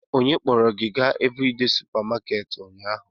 Onye kpọrọ gị gaa Evridee supamakeeti ụnyaahụ?